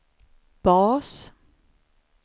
bas